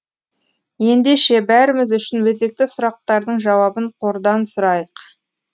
ендеше бәріміз үшін өзекті сұрақтардың жауабын қордан сұрайық